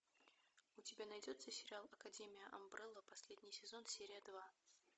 у тебя найдется сериал академия амбрелла последний сезон серия два